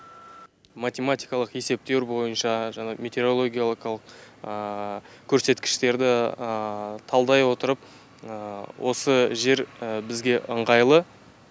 математикалық есептеуір бойынша жаңағы метеорологиялыкалық көрсеткіштерді талдай отырып осы жер бізге ыңғайлы